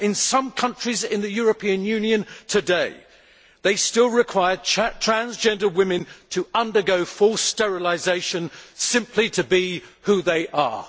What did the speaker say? Some countries in the European Union today still require transgender women to undergo full sterilisation simply to be who they are.